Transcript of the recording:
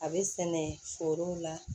A bɛ sɛnɛ forow la